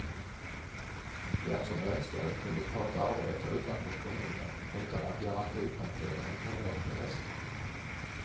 Den som önskade kunde ta ett arbete utanför kommunen utan att garantipensionen påverkades.